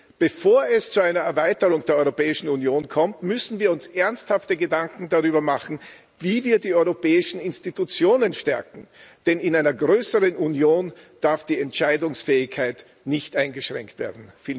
Und bevor es zu einer Erweiterung der Europäischen Union kommt, müssen wir uns ernsthafte Gedanken darüber machen, wie wir die europäischen Institutionen stärken, denn in einer größeren Union darf die Entscheidungsfähigkeit nicht eingeschränkt werden.